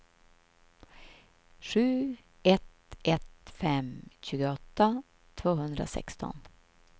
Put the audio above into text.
sju ett ett fem sjuttioåtta tvåhundrasexton